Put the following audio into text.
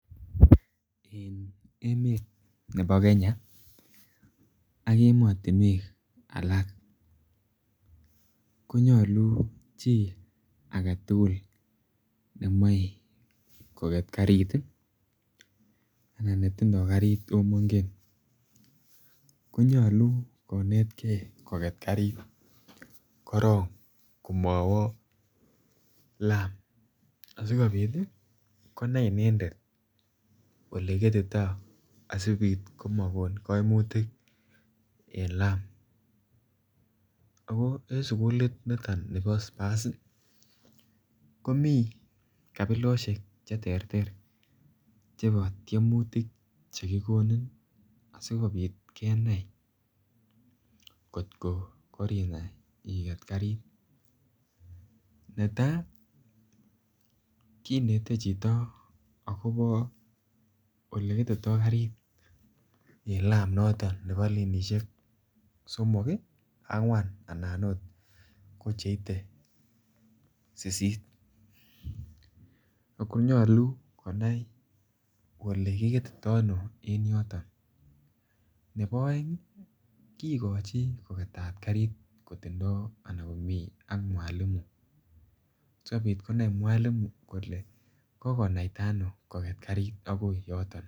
En emet nebo Kenya ak emotinwek alak ko nyolu chi age tugul ne moe koket karit anan netindoi karit ako mongen ko nyolu konetgei koket karit korok komowo laam asikobit konai inendet Ole kiketitoi asibit komakon kaimutik en laam ago en sugulit niton nibo spurs komi kabilosiek Che terter chebo tiemutik Che kigonin asikobit kenai angot ko korinai I get karit netai kinete chito agobo Ole ketito karit en lam noton nebo lenisiek somok, angwan anan okot ko cheite sisit ago ko nyolu konai kole kiketoi ano en yoton nebo aeng kigochi koketat karit komiten ak mwalimu asikobit konai mwalimu kole kokonaita ano koket karit agoi yoton